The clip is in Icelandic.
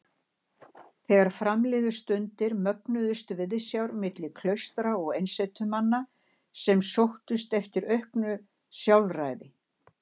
Þegar fram liðu stundir mögnuðust viðsjár milli klaustra og einsetumanna sem sóttust eftir auknu sjálfræði.